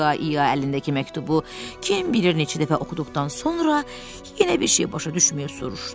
İya-iya əlindəki məktubu kim bilir neçə dəfə oxuduqdan sonra yenə bir şey başa düşməyib soruşdu.